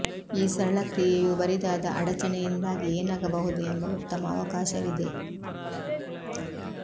ಈ ಸರಳ ಕ್ರಿಯೆಯು ಬರಿದಾದ ಅಡಚಣೆಯಿಂದಾಗಿ ಏನಾಗಬಹುದು ಎಂಬ ಉತ್ತಮ ಅವಕಾಶವಿದೆ